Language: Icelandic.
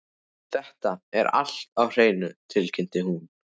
Þetta er allt á hreinu, tilkynnti hún.